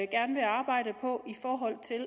gerne arbejde på